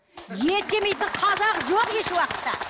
ет жемейтін қазақ жоқ еш уақытта